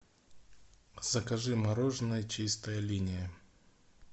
закажи мороженое чистая линия